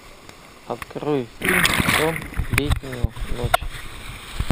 открой фильм сон в летнюю ночь